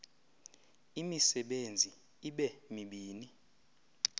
imisebenzi ibe mibini